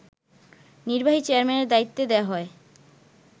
নির্বাহী চেয়ারম্যানের দায়িত্ব দেয়া হয়